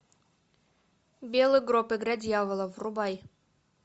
белый гроб игра дьявола врубай